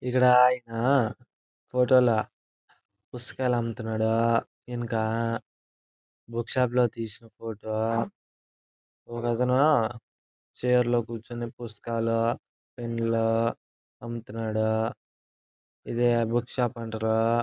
ఇక్కడ అయి-ఆ ఫోటోలు పుస్తకాలు అమ్ముతున్నాడు. ఇంకా బుక్ షాప్ లో తీసిన ఫోటో ఒకతను చైర్ లో కూర్చొని పుస్తకాలూ పెన్ను లు అమ్ముతున్నాడు. ఇది బుక్ షాప్ అంటారు.